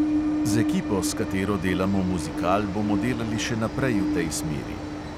Z ekipo, s katero delamo muzikal, bomo delali še naprej v tej smeri.